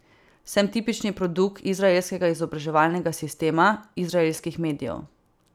Sem tipični produkt izraelskega izobraževalnega sistema, izraelskih medijev.